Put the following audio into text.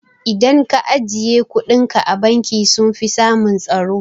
Idan ka ajiye kuɗinka a banki sunfi samun tsaro